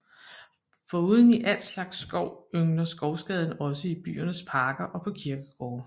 Foruden i al slags skov yngler skovskaden også i byernes parker og på kirkegårde